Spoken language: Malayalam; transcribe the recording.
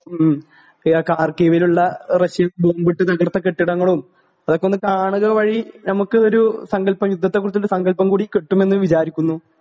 ഹ്ം കാർക്കീവീലുള്ള റഷ്യ ബോംബിട്ട് തകർത്ത കെട്ടിടങ്ങളും അതൊക്കെ ഒന്ന് കാണുക വഴി ഞമ്മക്ക് ഒരു സങ്കൽപ്പ യുദ്ധത്തെ കുറിചുള്ള സങ്കല്പം കൂടി കിട്ടുമെന്ന് വിചാരിക്കുന്നു